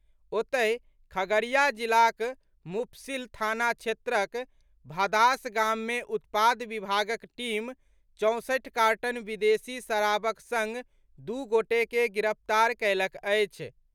ओतहि, खगड़िया जिलाक मुफस्सिल थाना क्षेत्रक भदास गाम मे उत्पाद विभागक टीम चौसठि कार्टन विदेशी शराबक संग दू गोटे के गिरफ्तार कयलक अछि।